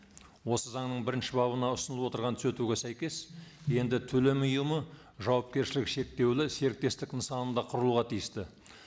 осы заңның бірінші бабына ұсынылып отырған түзетуге сәйкес енді төлем ұйымы жауапкершілігі шектеулі серіктестік нысанында құрылуға тиісті